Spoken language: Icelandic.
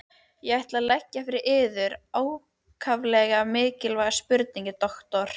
Ég ætla að leggja fyrir yður ákaflega mikilvæga spurningu, doktor.